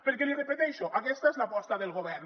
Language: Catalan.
perquè l’hi repeteixo aquesta és l’aposta del govern